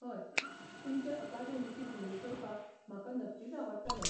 हय, तुमचे अकादेमीची भोंवडी करपाक म्हाका नक्कीच आवडटलें.